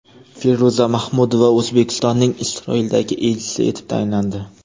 Feruza Mahmudova O‘zbekistonning Isroildagi elchisi etib tayinlandi.